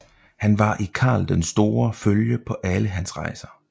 Han var i Karl den Store følge på alle hans rejser